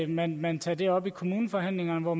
man man tager det op i kommuneforhandlingerne hvor